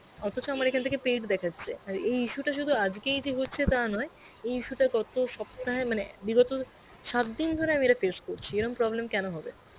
অথচ আমার এখান থেকে paid দেখাচ্ছে. আর এই issue টা সুধু আজগেই যে হচ্ছে টা নয়ে এই issue টা গত সপ্তাহে মানে বিগত সাতদিন ধরে face করছি এরকম problem কেন হবে?